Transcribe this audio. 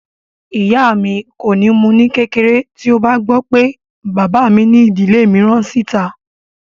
Bàbá mi kò ní mú u ní kékeré tí ó bá gbọ́ pé bàbá mi ní ìdílé mìíràn sí ìta